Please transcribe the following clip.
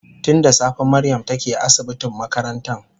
Tun da safe Mariam take asibitin makarantan